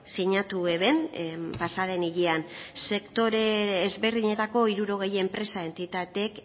sinatu eben pasaden hilean sektore ezberdinetako hirurogei enpresa entitateek